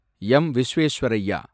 M. Visvesvaraya